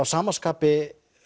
sama skapi